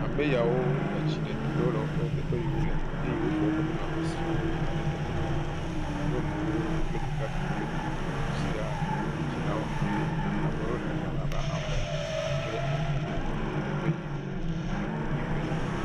Ame yawo, etsi ɖe to ɖe wo le teƒe yi wole. Eye wofɔ woƒe nunɔamesiwo yina ɖe teƒe ƒuƒu. Nyɔnuwo kple ɖekakpuiwo kple ɖetugbuiwo siaãã. Wo dzilawo hã. Abe wole xexlẽme abe ame aɖre ene wo yina teƒe yi wo le ƒuƒuiƒe.